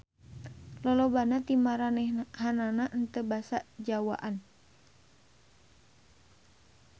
Lolobana ti maranehanana henteu basa Jawaan.